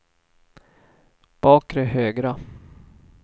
bakre högra